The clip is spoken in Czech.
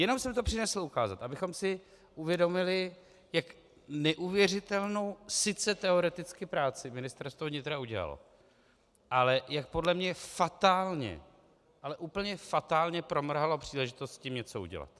Jenom jsem to přinesl ukázat, abychom si uvědomili, jak neuvěřitelnou sice teoreticky práci Ministerstvo vnitra udělalo, ale jak podle mě fatálně, ale úplně fatálně promrhalo příležitost s tím něco udělat.